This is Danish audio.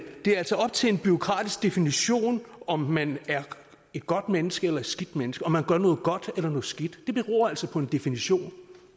det altså er op til en bureaukratisk definition om man er et godt menneske eller et skidt menneske om man gør noget godt eller noget skidt det beror altså på en definition